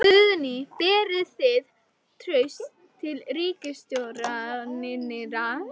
Guðný: Berið þið traust til ríkisstjórnarinnar?